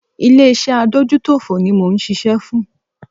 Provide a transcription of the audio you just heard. Ilé iṣé adójútòfò ní mò ń ṣiṣẹ́ fún.